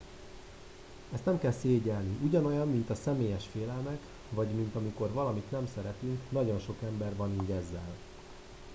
ezt nem kell szégyellni ugyanolyan mint a személyes félelmek vagy mint amikor valamit nem szeretünk nagyon sok ember van így ezzel